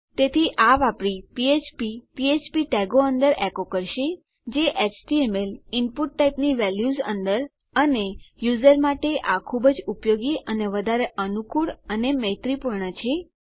તેથી આ વાપરી ફ્ફ્પ પીએચપી ટેગો અંદર એકો કરશે જે એચટીએમએલ ઈનપુટ ટાઇપની વેલ્યુઝ અંદર અને યુઝર માટે આ ખુબ જ ઉપયોગી અને વધારે અનુકૂળ અને મૈત્રીપૂર્ણ છે